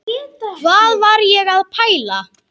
Hvað var ég að pæla?